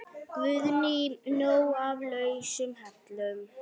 Guðný: Nóg af lausum hellum?